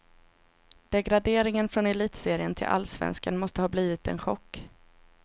Degraderingen från elitserien till allsvenskan måste ha blivit en chock.